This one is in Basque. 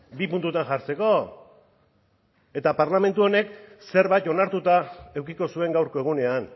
bi puntutan jartzeko eta parlamentu honek zerbait onartuta edukiko zuen gaurko egunean